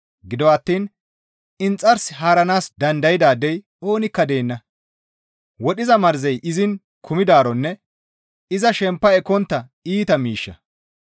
Gido attiin inxars haaranaas dandaydaadey oonikka deenna; wodhiza marzey izin kumidaaronne iza shempa ekkontta iita miishsha.